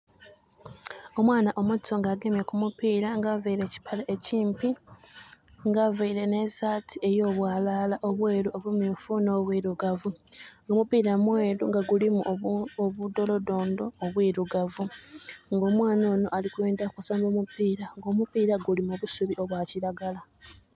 Omwana omuto nga agemye ku mupiira nga availe ekipale ekimpi, nga availe n'esaati ey'obwalala obweeru, obumyufu, n'obwilugavu. Omupiira mweeru nga gulimu obudolodondo obwilugavu. Nga omwana onho ali kwendha kusamba omupira. Omupiira guli mu busubi obwa kiragala.